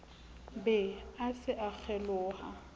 be a se a kgeloha